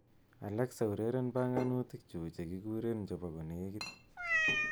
Alexa ureren banganutiknyu chekiurereni chebo kolekit